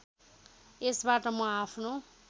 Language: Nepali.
यसबाट म आफ्नो